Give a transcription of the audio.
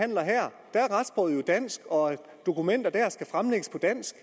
dansk og at dokumenter dér skal fremlægges på dansk